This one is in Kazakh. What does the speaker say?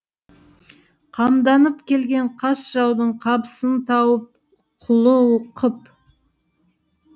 қамданып келген қас жаудың қапысын тауып құлы қып